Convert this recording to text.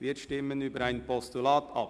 Wir stimmen über ein Postulat ab.